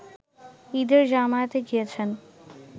ঈদের জামায়াতে গিয়েছেন